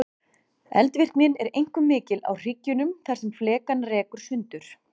Eldvirknin er einkum mikil á hryggjunum þar sem flekana rekur sundur.